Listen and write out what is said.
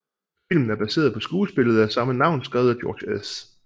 Filmen er baseret på skuespillet af samme navn skrevet af George S